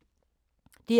DR K